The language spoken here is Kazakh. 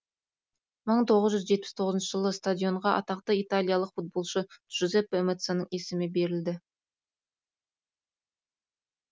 мың тоғыз жүз жетпіс тоғызыншы жылы стадионға атақты италиялық футболшы джузеппе меаццаның есімі беріледі